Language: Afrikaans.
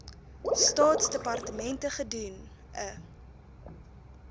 staatsdepartemente gedoen n